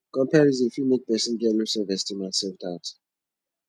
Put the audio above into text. comparison fit make person get low self esteem and self doubt